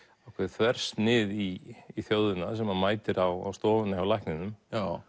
þversnið í þjóðina sem mætir á stofuna hjá lækninum